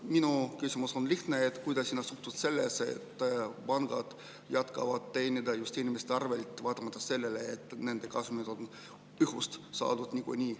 Minu küsimus on lihtne: kuidas sa suhtud sellesse, et pangad jätkavad teenimist just inimeste arvel, vaatamata sellele, et nende kasumid on õhust saadud?